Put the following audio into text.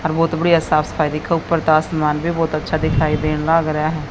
और बहोत बढ़िया साफ सफाई दिखो ऊपर तो आसमान भी बहोत अच्छा दिखाई देन लाग रहे--